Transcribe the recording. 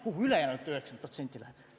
Kuhu ülejäänud 90% läheb?